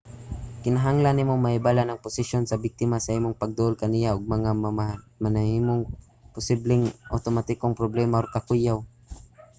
kinahanglan nimo mahibal-an ang posisyon sa biktima sa imong pagduol kaniya ug ang mga mamahimong posibleng awtomatikong problema or kakuyaw